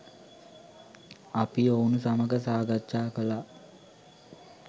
අපි ඔවුන් සමග සාකච්ජා කළා